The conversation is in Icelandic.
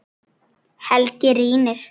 Helgi rýnir.